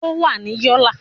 Ó wà ní Yólà